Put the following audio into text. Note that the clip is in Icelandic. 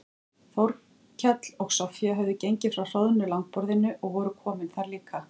Þórkell og Soffía höfðu gengið frá hroðnu langborðinu og voru komin þar líka.